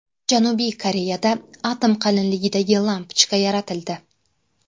Janubiy Koreyada atom qalinligidagi lampochka yaratildi.